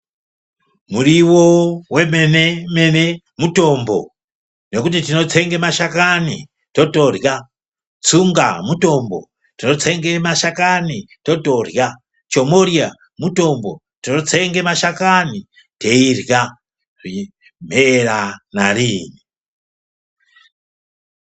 Muriwo wemene mene mutombo ngokuti tinotsenge mashakani totorya, tsunga mutombo tinotsenge mashakani totorya, chomoriya mutombo tinotsenge mashakani teirya mheera narini.